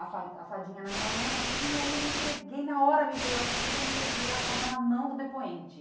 a fa a fadinha na minha mão, assim, aí eu entreguei, na hora me veio essa coisa, eu entreguei a fada na mão do depoente.